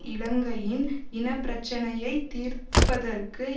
இலங்கையின் இன பிரச்சினையை தீர்ப்பதற்கு